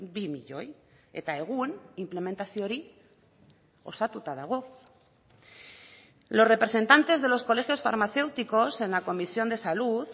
bi milioi eta egun inplementazio hori osatuta dago los representantes de los colegios farmacéuticos en la comisión de salud